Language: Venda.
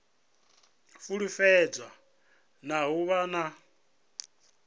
fulufhedzea na u vha na